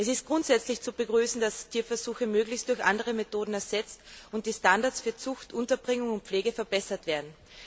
Es ist grundsätzlich zu begrüßen, dass Tierversuche möglichst durch andere Methoden ersetzt und die Standards für Zucht, Unterbringung und Pflege verbessert werden.